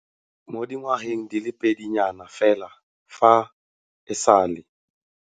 Mo dingwageng di le pedi nyana fela fa e sale.